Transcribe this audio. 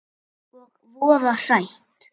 Og voða sætt.